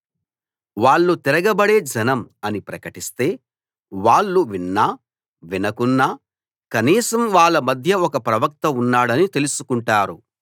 వాళ్ళు తిరగబడే జనం అలా ప్రకటిస్తే వాళ్ళు విన్నా వినకున్నా కనీసం వాళ్ళ మధ్య ఒక ప్రవక్త ఉన్నాడని తెలుసుకుంటారు